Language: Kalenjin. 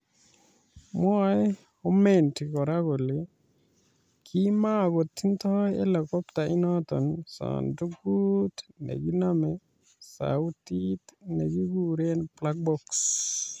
Mwae Homendy kora kole kimakotindoi Helikopta inoto sandukut nekinome sautit nekikuree 'black box'